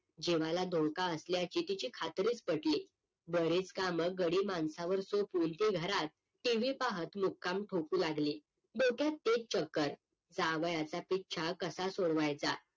जीवाला धोका असल्याची तिची खात्रीच पटली बरेच कामं गडी माणसांवर सोपवून ती घरात TV पाहत मुक्काम ठोकू लागली डोक्यात तेच चक्कर जावयाचा पिच्छा कसा सोडवायचा?